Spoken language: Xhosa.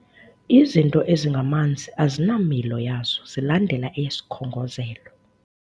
Izinto ezingamanzi azinamilo yazo zilandela eyesikhongozelo.